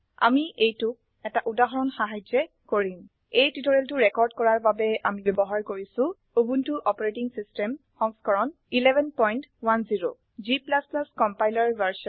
আমি এইটোক এটা উদাহৰণ সাহায্যে কৰিম এই টিউটোৰিয়েলটো ৰেকৰ্ড কৰাৰ বাবে আমি ব্যবহাৰ কৰিছো উবুন্টু অপাৰেটিং সিস্টেম সংস্কৰণ 1110 g কম্পাইলাৰ ভ